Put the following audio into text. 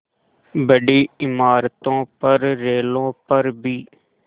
बड़ी इमारतों पर रेलों पर भी